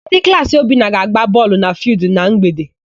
Ndị klaasị Obinna ga-agba bọọlụ na fịịldụ na mgbede.